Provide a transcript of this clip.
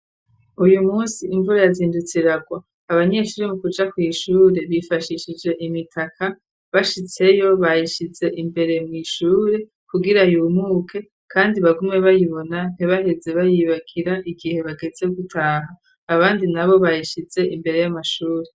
uyu munsi imvura yazindutsiragwa Abanyeshuri mu kuja kwishure , bifashishije imitaka , bashitseyo bayishize imbere mwishure kugira yumuke, kandi bagume bayibona , ntibaheze bayibagira igihe bageze gutaha . Abandi na bo bayishize imbere y'amashuri.